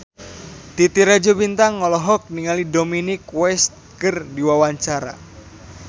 Titi Rajo Bintang olohok ningali Dominic West keur diwawancara